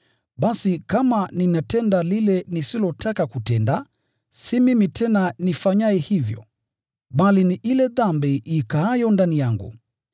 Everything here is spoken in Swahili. Basi kama ninatenda lile nisilotaka kutenda, si mimi tena nifanyaye hivyo, bali ni ile dhambi ikaayo ndani yangu.